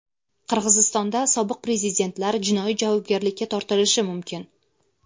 Qirg‘izistonda sobiq prezidentlar jinoiy javobgarlikka tortilishi mumkin.